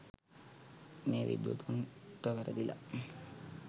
මේ විද්වතුන් ට වැරදිලා